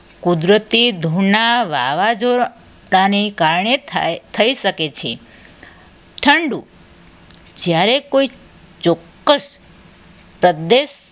કુદરતી ધૂળના વાવાઝોડાના કારણે થાય થઈ શકે છે ઠંડુ જ્યારે કોઈ ચોક્કસ પ્રદેશ